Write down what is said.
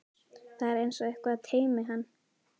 Það er einsog eitthvað teymi hann.